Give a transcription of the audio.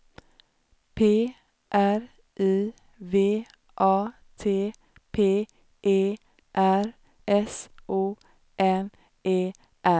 P R I V A T P E R S O N E R